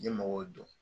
N ye mɔgɔw dɔn